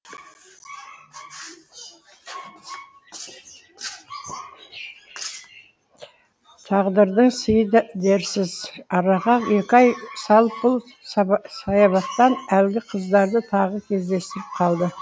тағдырдың сыйы дерсіз араға екі ай салып бұл саябақтан әлгі қыздарды тағы кездестіріп қалды